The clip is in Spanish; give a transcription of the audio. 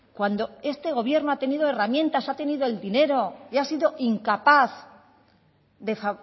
cuando este gobierno ha tenido herramientas ha tenido el dinero y ha sido incapaz de